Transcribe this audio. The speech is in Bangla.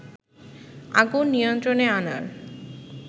আগুন নিয়ন্ত্রণে আনার